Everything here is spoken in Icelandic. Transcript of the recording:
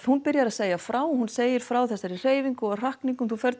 hún byrjar að segja frá og hún segir frá þessari hreyfingu og hrakningum þú ferð